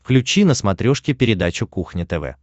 включи на смотрешке передачу кухня тв